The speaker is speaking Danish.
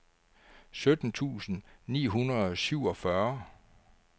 sytten tusind ni hundrede og syvogfyrre